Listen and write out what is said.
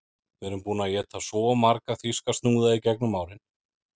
Við erum búin að éta svo marga þýska snúða í gegnum árin